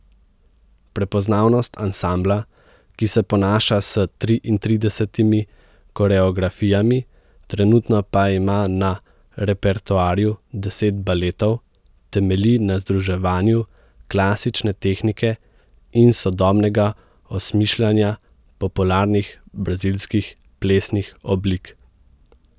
Prepoznavnost ansambla, ki se ponaša s triintridesetimi koreografijami, trenutno pa ima na repertoarju deset baletov, temelji na združevanju klasične tehnike in sodobnega osmišljanja popularnih brazilskih plesnih oblik.